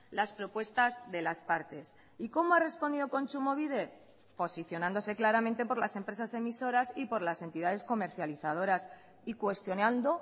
las propuestas de las partes y cómo ha respondido kontsumobide posicionándose claramente por las empresas emisoras y por las entidades comercializadoras y cuestionando